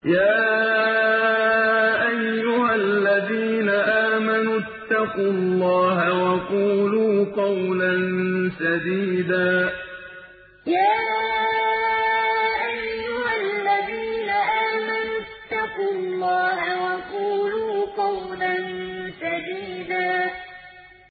يَا أَيُّهَا الَّذِينَ آمَنُوا اتَّقُوا اللَّهَ وَقُولُوا قَوْلًا سَدِيدًا يَا أَيُّهَا الَّذِينَ آمَنُوا اتَّقُوا اللَّهَ وَقُولُوا قَوْلًا سَدِيدًا